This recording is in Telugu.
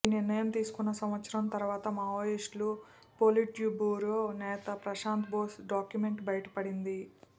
ఈ నిర్ణయం తీసుకున్న సంవత్సరం తరువాత మావోయిస్టు పొలిట్బ్యూరో నేత ప్రశాంత బోస్ డాక్యుమెంట్ బయటపడింది